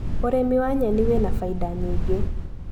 ũrĩmi wa nyeni wĩna fainda nyingĩ.